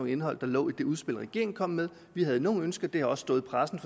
indhold der lå i det udspil regeringen kom med vi havde nogle ønsker det har også stået i pressen